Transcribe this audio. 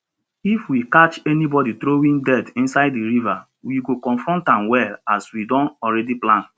if we catch anybody throwing dirt inside the river we go confront am well as we don already plan